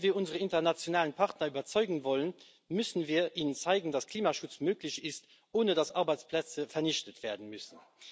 Wenn wir unsere internationalen Partner überzeugen wollen, müssen wir ihnen zeigen, dass Klimaschutz möglich ist, ohne dass Arbeitsplätze vernichtet werden müssen.